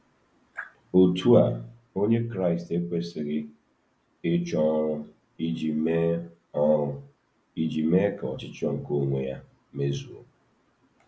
Otú a, Onye Kraịst ekwesịghị ịchọ ọrụ iji mee ọrụ iji mee ka ọchịchọ nke onwe ya mezuo.